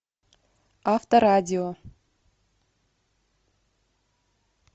авторадио